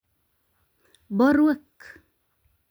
borwek